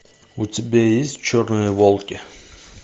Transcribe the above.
у тебя есть черные волки